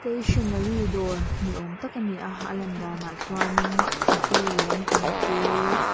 stationary dawr ni awm tak a ni a a lan danah chuanin glue lampang te.